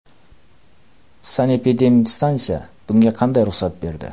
Sanepidemstansiya bunga qaday ruxsat berdi?